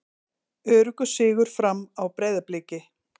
Öruggur sigur Fram á Breiðabliki